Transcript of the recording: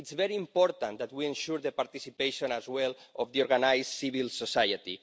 It's very important that we ensure the participation as well of the organised civil society.